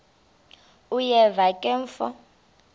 uyeva ke mfo